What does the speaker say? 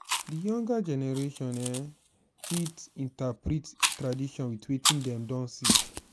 di younger generation um fit reinterprete tradition with wetin dem don see